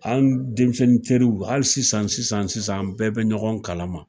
An denmisɛnnin teriw hali sisan sisan sisan an bɛɛ bɛ ɲɔgɔn kalama